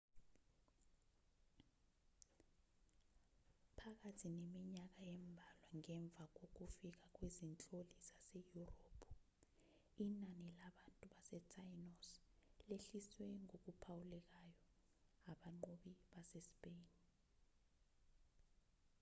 phakathi neminyaka embalwa ngemva kokufika kwezinhloli zaseyurophu inani labantu basetainos lehliswe ngokuphawulekayo abanqobi basespeyini